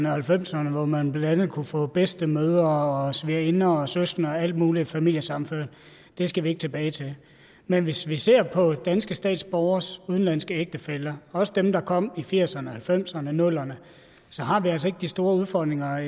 og halvfemserne hvor man blandt andet kunne få bedstemødre og svigerinder og søskende og alt muligt familiesammenført skal vi ikke tilbage til men hvis vi ser på danske statsborgeres udenlandske ægtefæller også dem der kom i firserne og halvfemserne og nullerne så har vi altså ikke de store udfordringer